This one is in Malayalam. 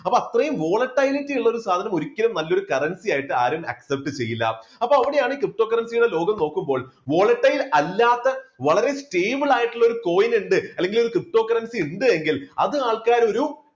അപ്പൊ അത്രയും volatility ഉള്ള ഒരു സാധനം ഒരിക്കലും നല്ലൊരു currency ആയിട്ട് ആരും accept ചെയ്യില്ല. അപ്പോൾ അവിടെയാണ് ptocurrency യുടെ ലോകം നോക്കുമ്പോൾ volatile അല്ലാത്ത വളരെ stable ആയിട്ടുള്ള ഒരു coin ഉണ്ട് അല്ലെങ്കിൽ ഒരു ptocurrency ഇണ്ടെങ്കിൽ അത് ആൾക്കാരൊരു